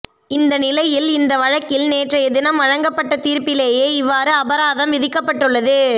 இந்த நிலையில் இந்த வழக்கில் நேற்றையதினம் வழங்கப்பட்ட தீர்ப்பிலேயே இவ்வாறு அபராதம் விதிக்கப்பட்டுள்ளது